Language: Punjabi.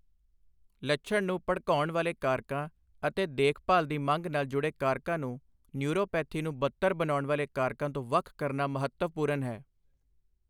ਲੱਛਣ ਨੂੰ ਭੜਕਾਉਣ ਵਾਲੇ ਕਾਰਕਾਂ, ਅਤੇ ਦੇਖਭਾਲ ਦੀ ਮੰਗ ਨਾਲ ਜੁੜੇ ਕਾਰਕਾਂ ਨੂੰ ਨਿਊਰੋਪੇਥੀ ਨੂੰ ਬੱਤਰ ਬਣਾਉਣ ਵਾਲੇ ਕਾਰਕਾਂ ਤੋਂ ਵੱਖ ਕਰਨਾਂ ਮਹੱਤਵਪੂਰਨ ਹੈ।